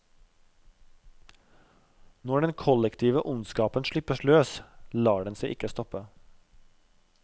Når den kollektive ondskapen slippes løs, lar den seg ikke stoppe.